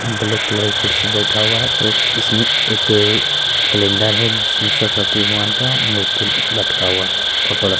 black colour की कुर्सी पर बैठे हुआ हैं एक इसमें एक कैलेंडर है जिसमें सरस्वती भगवान का मूर्ति लटका हुआ है फोटो --